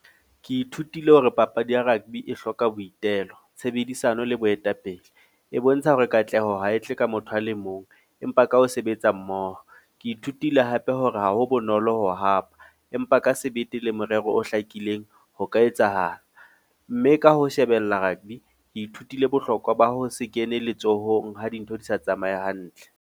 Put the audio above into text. Ke ithutile hore papadi ya rugby e hloka boitelo, tshebedisano le boetapele. E bontsha hore katleho ha e tle ka motho a le mong. Empa ka ho sebetsa mmoho. Ke ithutile hape hore ha ho bonolo ho hapa, empa ka sebete le morero o hlakileng ho ka etsahala. Mme ka ho shebella rugby, ke ithutile bohlokwa ba ho se kene letsohong ha dintho di sa tsamaye hantle.